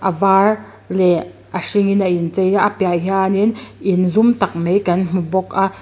a var leh a hring in a in chei a a piah ah hian in in zum tak mai kan hmu bawk a.